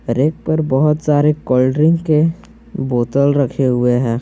Rack पर बहुत सारे कोल्ड ड्रिंक के बोतल रखे हुए हैं।